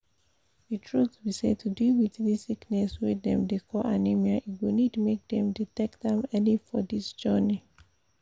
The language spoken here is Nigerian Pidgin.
the truth be say to deal wit this sickness wey dem dey call anemia e go need make dem detect am early for this journey